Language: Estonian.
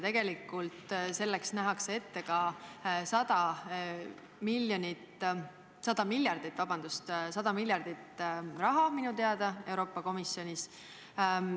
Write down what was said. Tegelikult nähakse selleks Euroopa Komisjonis minu teada ette 100 miljardit eurot.